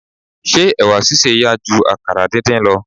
Ṣé ẹ̀wà sísè yá ju àkàrà díndín lọ.